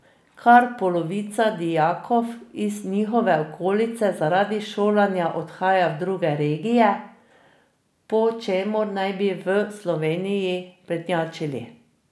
Kar polovica dijakov iz njihove okolice zaradi šolanja odhaja v druge regije, po čemer naj bi v Sloveniji prednjačili.